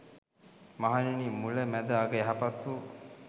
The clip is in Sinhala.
මහණෙනි මුල, මැද අග යහපත් වු